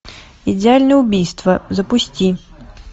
идеальное убийство запусти